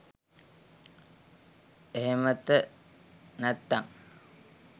එහෙමත නැත්තම්